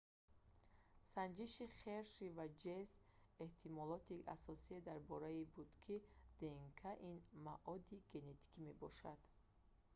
санҷиши херши ва чейз эҳтимолоти асосие дар он бора буд ки днк ин маоди генетикӣ мебошад